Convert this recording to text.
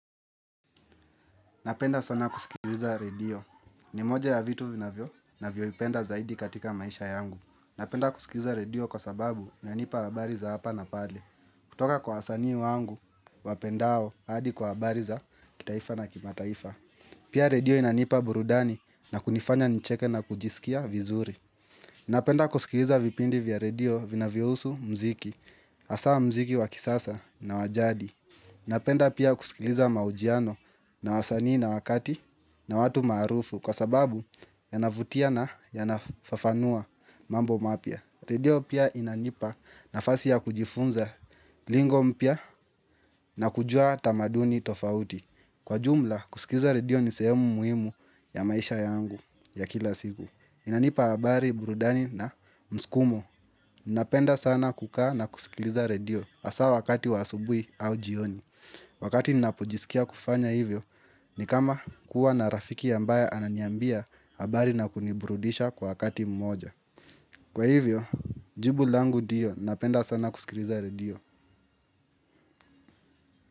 Napenda sana kusikiliza redio. Ni moja ya vitu ninavyovipenda zaidi katika maisha yangu. Napenda kusikiliza redio kwa sababu inanipa habari za hapa na pale. Kutoka kwa wasanii wangu, wapendao hadi kwa habari za kitaifa na kimataifa. Pia redio inanipa burudani na kunifanya nicheke na kujisikia vizuri. Napenda kusikiliza vipindi vya redio vinavyohusu muziki, hasa muziki wa kisasa na wajadi. Napenda pia kusikiliza maujiano na wasanii na wakati na watu maarufu kwa sababu yanavutia na yanafafanua mambo mapya. Redio pia inanipa nafasi ya kujifunza lingo mpya na kujua tamaduni tofauti. Kwa jumla kusikiliza redio ni sehemu muhimu ya maisha yangu ya kila siku. Inanipa habari burudani na muskumo. Napenda sana kukaa na kusikiliza redio hasa wakati wa asubuhi au jioni. Wakati ninapojisikia kufanya hivyo, ni kama kuwa na rafiki ambaye ananiambia habari na kuniburudisha kwa wakati mmoja. Kwa hivyo, jibu langu ndio, napenda sana kusikiliza redio.